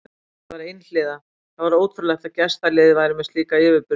Þetta var einhliða, það var ótrúlegt að gestaliðið væri með slíka yfirburði.